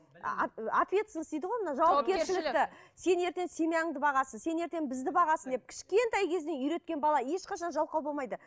ответственность дейді ғой мына сен ертең семьяңды бағасың сен ертең бізді бағасың деп кішкентай кезінен үйреткен бала ешқашан жалқау болмайды